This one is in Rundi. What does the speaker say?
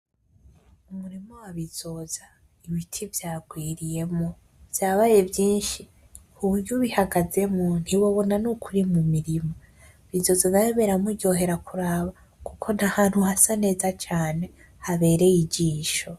Umurima wa Bizoza ibiti vyagwiriyemwo vyabaye vyinshi kuburyo ubihagazemwo ntiwobona nuko uri mu mirima Bizoza rero biramuryohera kuraba kuko n'ahantu hasa neza cane habereye ijisho.